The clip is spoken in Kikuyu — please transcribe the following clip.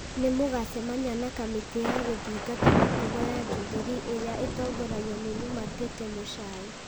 nĩ magucamia na kamĩtĩ ya gũthingata mũtugo ya Jubilee ĩrĩa ĩtongoragio nĩ Lumatete Mũchai.